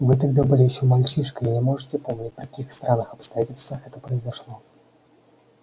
вы тогда были ещё мальчишкой и не можете помнить при каких странных обстоятельствах это произошло